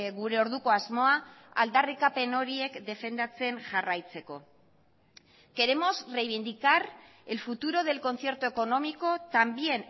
gure orduko asmoa aldarrikapen horiek defendatzen jarraitzeko queremos reivindicar el futuro del concierto económico también